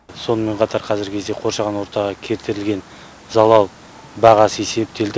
сонымен қатар қазіргі кезде қоршаған ортаға келтірілген залал бағасы есептелді